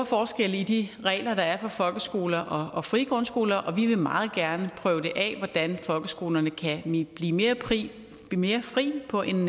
forskelle i de regler der er for folkeskoler og frie grundskoler og vi vil meget gerne prøve af hvordan folkeskolerne kan blive mere frie mere frie på en